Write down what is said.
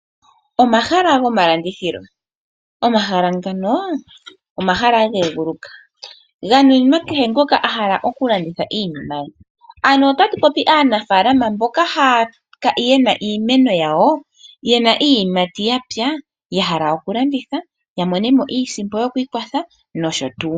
Omahala gomalandithilo, omahala ngano, omahala genguluka ganuninwa kehe ngoka ahala okulanditha iinima ye, ano otatu popi aanafalama mboka yena iimeno yawo, yena iiyimati yawo yapya, yahala okulanditha yamonemo iisimpo yokwiikwatha nosho tuu.